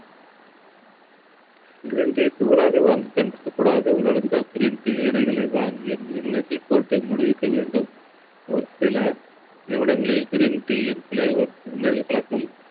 green tea தூளாக வாங்கி குடிக்கக் கூடாது. உலர்ந்த green tea இலைகளை வாங்கி வெண்ணீரில் போட்டு மூடி வைக்க வேண்டும். ஒரு சில நிறுவனங்களில் green tea யை தண்ணீரில் கலக்கும்